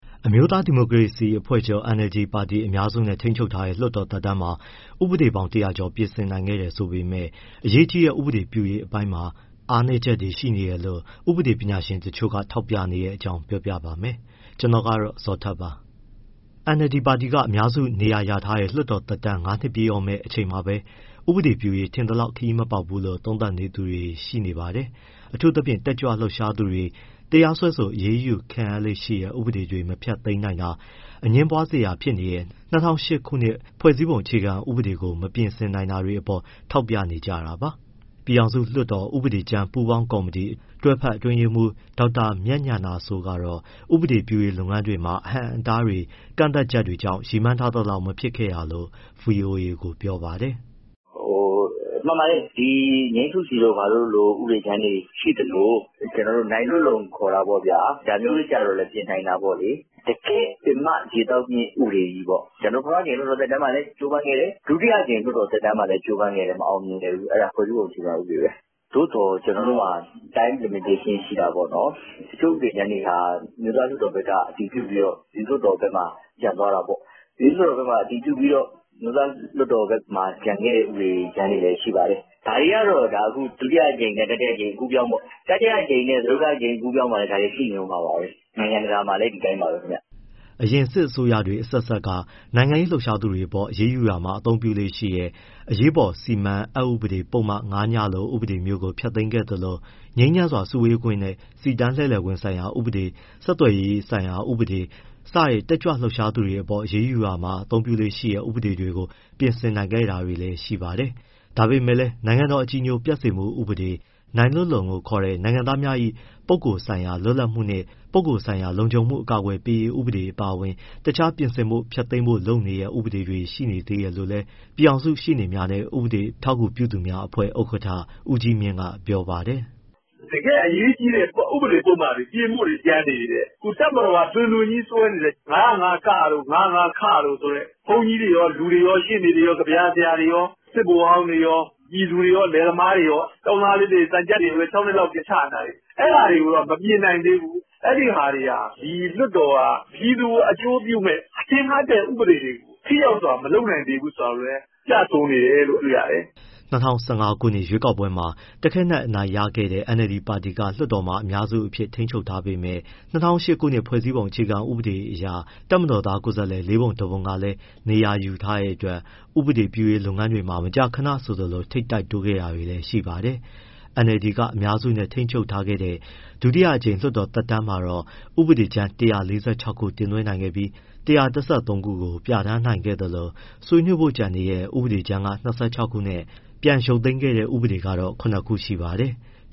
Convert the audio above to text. အမျိုးသားဒီမိုကရေစီအဖွဲ့ချုပ် ပါတီက အများစုနဲ့ ထိန်းချုပ်ထားတဲ့ လွှတ်တော် သက်တမ်းမှာ ဥပဒေပေါင်း ၁၀၀ ကျော် ပြဋ္ဌာန်းနိုင်ခဲ့တယ်ဆိုပေမဲ့ အရေးကြီးတဲ့ ဥပဒေပြုရေး အပိုင်းတွေမှာ အားနည်းချက်တွေ ရှိနေတယ်လို့ ဥပဒေပညာရှင်တချို့က ထောက်ပြနေတဲ့အကြောင်းကို ဗွီအိုအေမြန်မာပိုင်းသတင်းထောက် ကိုဇော်ထက်က ပြောပြပေးပါမယ်။ NLD ပါတီက အများစုနေရာရထားတဲ့ လွှတ်တော်သက်တမ်း ၅ နှစ်ပြည့်တော့မယ့်အချိန်မှာပဲ ဥပဒေပြုရေးမှာ ထင်သလောက် ခရီးမပေါက်ဘူးလိ့ု သုံးသပ်သူတွေလည်း ရှိနေပါတယ်။ အထူးသဖြင့် တက်ကြွလှုပ်ရှားသူတွေ တရားစွဲဆို အရေးယူခံရလေ့ရှိတဲ့ ဥပဒေတွေ မဖျက်သိမ်းနိုင်တာ၊ အငြင်းပွားစရာဖြစ်နေရတဲ့ ၂၀၀၈ ခုနှစ် ဖွဲ့စည်းပုံအခြေခံဥပဒေကို မပြင်ဆင်နိုင်တာတွေအပေါ် ထောက်ပြနေကြတာပါ။ ပြည်ထောင်စုလွှတ်တော် ဥပဒေကြမ်းပူးပေါင်းကော်မတီ တွဲဖက်အတွင်းရေးမှူး ဒေါက်တာမြတ်ဉာဏစိုးကတော့ ဥပဒေပြုရေး လုပ်ငန်းတွေမှာ အဟန့်အတားတွေ ကန့်သတ်ချက်တွေကြောင့် ရည်မှန်းထားသလောက် မဖြစ်ခဲ့တာလို့ ဗွီအိုအေကို ပြောပါတယ်။ “မှန်ပါတယ်၊ ‘ ငြိမ်းစုစီ’ တို့လိုဥပဒေကြမ်းတွေ ရှိသလို၊ ကျနော်တို့ ‘ နိုင်လွတ်လုံ’ ခေါ်တာပေါ့ဗျာ ဒါမျိုးတွေကျတော့လည်း ပြင်နိုင်တာပေါ့။ တကယ့်ပင်မ ရေသောက်မြစ် ဥပဒေကြီးပေါ့ ကျနော်တို့ ပထမအကြိမ်လွှတ်တော် သက်တမ်းမှာလည်း ကြိုးပမ်းခဲ့တယ်၊ ဒုတိယအကြိမ် လွှတ်တော်သက်တမ်းမှာလည်း ကြိုးပမ်းခဲ့တယ် မအောင်မြင်ခဲ့ဘူး၊ အဲဒါ ဖွဲ့စည်းပုံအခြေခံဥပဒေပဲ။ သို့သော် ကျနော်တို့မှာ time limitation ရှိတာပေါ့နော်။ တချို့ဥပဒေကြမ်းတွေဟာ အမျိုးသားလွှတ်တော်ဘက်က အတည်ပြုပြီးတော့ ပြည်သူ့လွှတ်တော်ဘက်မှာ ကျန်သွားတာပေါ့။ ပြည်သူ့လွှတ်တော်ဘက်မှာ အတည်ပြုပြီးတော့ အမျိုးသားလွှတ်တော်ဘက်မှာ ကျန်ခဲ့တဲ့ဥပဒေကြမ်းတွေလည်း ရှိပါတယ်။ ဒါတွေကတော့ ဒုတိယအကြိမ်နဲ့ တတိယအကြိမ် အကူးအပြောင်းပေါ့၊ တတိယအကြိမ်နဲ့ စတုတ္ထအကြိမ် အကူးအပြောင်းမှာလည်း ဒါတွေကရှိနေဦးမှာပါပဲ။ နိုင်ငံတကာမှာလည်း ဒီအတိုင်းပါပဲခင်ဗျ။” အရင်စစ်အစိုးရတွေ အဆက်ဆက်က နိုင်ငံရေးလှုပ်ရှားသူတွေအပေါ် အရေးယူရာမှာ သုံးလေ့ရှိတဲ့ အရေးပေါ်စီမံမှု အက်ဥပဒေ ပုဒ်မ ၅ ည လို ဥပဒေမျိုးကို ဖျက်သိမ်းခဲ့သလို ငြိမ်းချမ်းစွာ စုဝေးခွင့်နဲ့ စီတန်းလှည့်လည်ခွင့်ဆိုင်ရာဥပဒေ ဆက်သွယ်ရေးဆိုင်ရာ ဥပဒေ စတဲ့ တက်ကြွလှုပ်ရှားသူတွေအပေါ် အရေးယူရာမှာ သုံးလေ့ရှိတဲ့ ဥပဒေတွေကို ပြင်ဆင်နိုင်ခဲ့တာတွေလည်း ရှိပါတယ်။ ဒါပေမဲ့လည်း နိုင်ငံတော် အကြည်ညိုပျက်စေမှု ဥပဒေ၊ ‘နိုင်လွတ်လုံ’ လို့ခေါ်တဲ့ နိုင်ငံသားများ၏ ပုဂ္ဂိုလ်ဆိုင်ရာ လွတ်လပ်မှုနှင့် ပုဂ္ဂိုလ်ဆိုင်ရာ လုံခြုံမှု အကာအကွယ်ပေးရေးဥပဒေ အပါအဝင် တခြား ပြင်ဆင်ဖို့ ဖျက်သိမ်းဖို့ လိုနေသေးတဲ့ ဥပဒေတွေ ရှိနေသေးတယ်လို့လည်း ပြည်ထောင်စုရှေ့နေများနဲ့ ဥပဒေအထောက်အကူပြုသူများအဖွဲ့ ဥက္ကဋ္ဌ ဦးကြီးမြင့်က ပြောပါတယ်။ “တကယ့်အရေးကြီးတဲ့ ဥပဒေပုဒ်မတွေ ပြင်ဖို့တွေ ကျန်နေသေးတယ်။ တပ်မတော်က တွင်တွင်ကြီးစွဲနေတဲ့ ၅၀၅ တို့၊ ၅၀၅ တို့ဆိုတဲ့ ဘုန်းကြီးတွေရော၊ လူတွေရော၊ ရှေ့နေတွေရော၊ ကဗျာဆရာတွေရော၊ စစ်ဗိုလ်ဟောင်းတွေရော၊ ပြည်သူတွေရော၊ လယ်သမားတွေရော၊ သံချပ်တွေကိုလည်း ၆ နှစ်လောက်ထိ ချနေတာတွေ၊ အဲဒါတွေကတော့ မပြင်နိုင်သေးဘူး၊ အဲဒီဟာတွေဟာ ဒီလွှတ်တော်က ပြည်သူကို အကျိုးပြုမယ့် ထင်ဟပ်တဲ့ ဥပဒေတွေကို ထိရောက်စွာမလုပ်နိုင်သေးဘူးဆိုတာကိုလည်း ပြဆိုနေတယ်လို့ တွေ့ရတယ်။” ၂၀၁၅ ခုနှစ် ရွေးကောက်ပွဲမှာ တခဲနက် အနိုင်ရခဲ့တဲ့ NLD ပါတီက လွှတ်တော်ထဲမှာ အများစုအဖြစ် ထိန်းချုပ်ထားပေမဲ့ ၂၀၀၈ ခုနှစ် ဖွဲ့စည်းပုံ အခြေခံဥပဒေအရ တပ်မတော်သား ကိုယ်စားလှယ် ၄ ပုံ ၁ ပုံ ကလည်း နေရာယူထားတဲ့အတွက် ဥပဒေပြုရေးလုပ်ငန်းတွေမှာ မကြာခဏ ထိပ်တိုက်တိုးခဲ့တာတွေလည်း ရှိပါတယ်။ NLD က အများစုနဲ့ ထိန်းချုပ်ခဲ့တဲ့ ဒုတိယအကြိမ် လွှတ်တော်သက်တမ်းမှာတော့ ဥပဒေကြမ်း ၁၄၆ ခု တင်သွင်းခဲ့ပြီး၊ ၁၁၃ ခုကို ပြဋ္ဌာန်းနိုင်ခဲ့သလို ဆွေးနွေးဖို့ကျန်နေတဲ့ ဥပဒေကြမ်းက ၂၆ ခုနဲ့ ပြန်ရုပ်သိမ်းခဲ့တဲ့ဥပဒေက တော့ ခုနစ် ခုရှိပါတယ်။